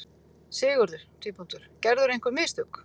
SIGURÐUR: Gerðirðu einhver mistök?